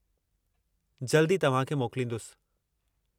जल्दु ई तव्हां खे मोकलींदुसि।